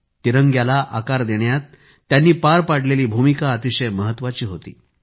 तिरंग्याला आकार देण्यात त्यांनी पार पाडलेली भूमिका अतिशय महत्वाची होती